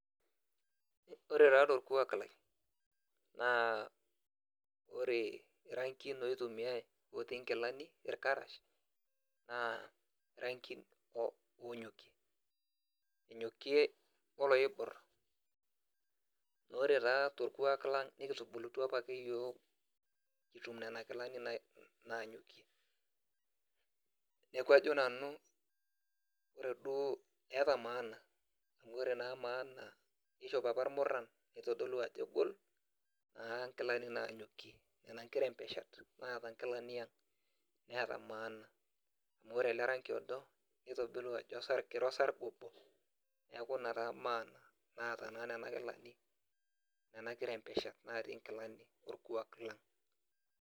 ore taa torkuak lai naa ore irangin oitumiae otii inkilani irkarash naa irangin o onnyokie enyokie o loibor, naa ore taa torkuak lang nikitubulutua apa ake yiok kitum nena kilani nai naanyokie. neeku ajo nanu ore duo eeta maana amu ore naa maana na kishop apa ilmurran eitodolu ajo egol naa nkilani naanyokie nena nkirembeshat naata nkilani ang, neeta maana amu ore ele rangi odo neitodolu ajo osar kira osarge obo, neeku ina taa maana naata naa nena kilani nena kirembeshat naatii nkilani orkuak lang'.